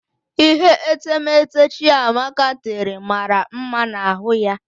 Ihe etemeete Chiamaka tere mara mma na ahụ ya.